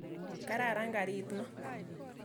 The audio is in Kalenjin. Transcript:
Kararan karit ni.